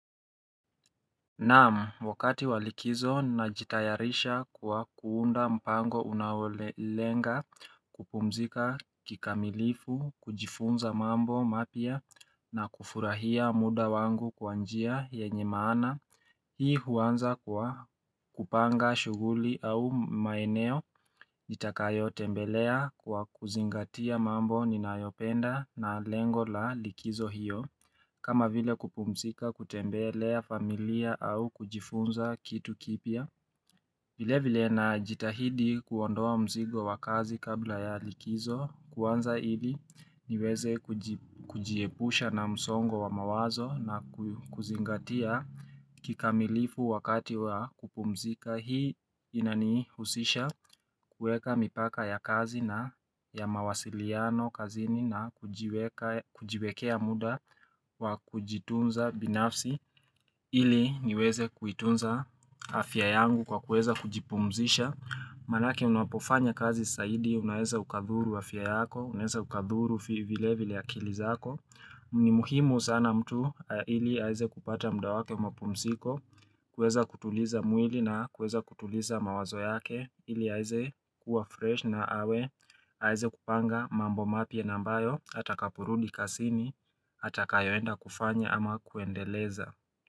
Naam wakati wa likizo najitayarisha kwa kuunda mpango unaole lenga kupumzika kikamilifu kujifunza mambo mapya na kufurahia muda wangu kwa njia yenye maana Hii huanza kwa kupanga shughuli au maeneo itakayo tembelea kwa kuzingatia mambo ninayopenda na lengo la likizo hiyo kama vile kupumzika kutembelea familia au kujifunza kitu kipya vile vile na jitahidi kuondoa mzigo wa kazi kabla ya likizo kuanza ili niweze kuji kujiepusha na msongo wa mawazo na kuzingatia kikamilifu wakati wa kupumzika. Hii inanihusisha kueka mipaka ya kazi na ya mawasiliano kazini najiweka kujiwekea muda wa kujitunza binafsi ili niweze kuitunza afya yangu kwa kueza kujipumzisha Maanake unapofanya kazi saidi, unaeza ukadhuru afya yako, unaeza ukadhuru vile vile akili zako ni muhimu sana mtu ili aeze kupata mda wake mpumsiko kuweza kutuliza mwili na kuweza kutuliza mawazo yake ili aeze kuwa fresh na awe aeze kupanga mambo mapya na ambayo atakapobrundi kasini Ataka yoenda kufanya ama kuendeleza.